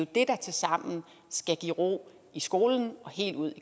det der tilsammen skal give ro i skolen og helt ud